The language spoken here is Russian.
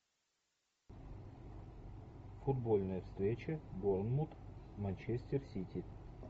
футбольная встреча борнмут манчестер сити